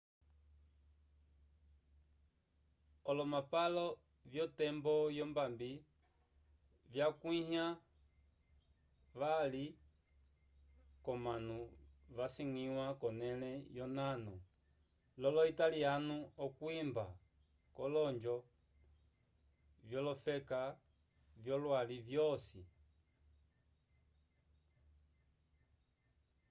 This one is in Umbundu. olomapalo vyotembo yombambi vyakuĩhiwa vali k'omanu vasangiwa k'onẽle yonano lolo-italiano okwimba k'olojogo vyolofeka vyolwali lwosi